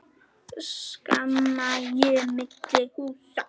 Skammt sé milli húsa.